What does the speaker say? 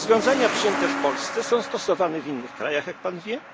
kraje. Rozwiązania przyjęte w Polsce są stosowane w innych krajach, jak pan